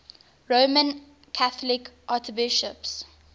roman catholic archbishops